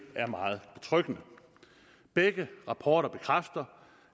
er meget betryggende begge rapporter bekræfter